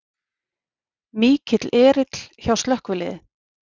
Mikill erill hjá slökkviliði